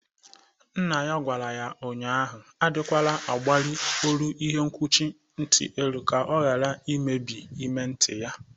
Nna ya gwara ya ụnyaahụ adịkwala agbali olu ihe nkwuchi nti elu ka ọ ghara imebi ime nti ya.